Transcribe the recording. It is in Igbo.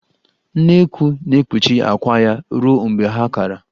Nnekwu na-ekpuchi akwà ya ruo mgbe ha kara.